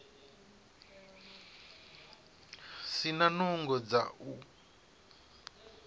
si na nungo dza u